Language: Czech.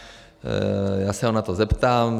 Já se ho na to zeptám.